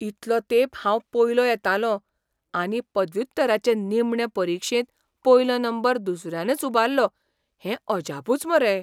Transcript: इतलो तेंप हांव पयलो येतालों, आनी पदव्युत्तराचे निमणे परिक्षेंत पयलो नंबर दुसऱ्यानच उबाल्लो हें अजापूच मरे.